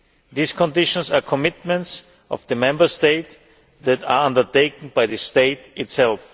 These conditions are commitments of the Member State that are undertaken by the state itself.